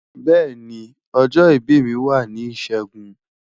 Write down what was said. beeni, ojo ibi mi wa ni Ishegun